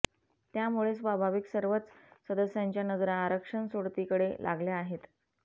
त्यामुळे स्वाभाविक सर्वच सदस्यांच्या नजरा आरक्षण सोडतीकडे लागल्या आहेत